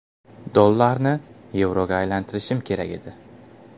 Dollarni yevroga aylantirishim kerak edi.